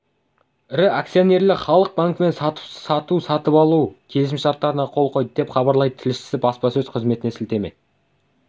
ірі акционерлері халық банкімен сату-сатып алу келісімшартына қол қойды деп хабарлайды тілшісі баспасөз қызметіне сілтеме